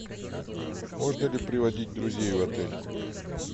можно ли приводить друзей в отель